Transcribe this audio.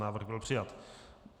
Návrh byl přijat.